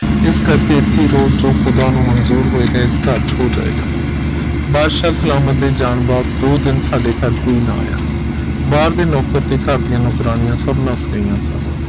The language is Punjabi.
ਇਸ ਕਰਕੇ ਇਥੇ ਹੀ ਰੋਕ ਜੋ ਖੁਦਾ ਨੂੰ ਮਨਜ਼ੂਰ ਹੋਏਗਾ ਇਸ ਘਰ ਚ ਹੋ ਜਾਏਗਾ ਬਾਦਸ਼ਾਹ ਸਲਾਮਤ ਦੇ ਜਾਣ ਬਾਅਦ ਦੋ ਦਿਨ ਸਾਡੇ ਘਰ ਕੋਈ ਨਾ ਆਇਆ ਬਾਹਰ ਦੇ ਨੌਕਰ ਤੇ ਘਰ ਦੀਆ ਨੌਕਰਾਣੀਆਂ ਸਬ ਨਸ ਗਈਆਂ ਸਨ